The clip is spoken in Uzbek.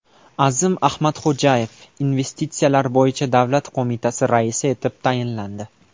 Azim Ahmadxo‘jayev Investitsiyalar bo‘yicha davlat qo‘mitasi raisi etib tayinlandi.